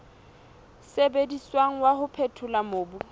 sebediswang wa ho phethola mobu